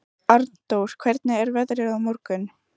Arndór, hvernig er veðrið á morgun?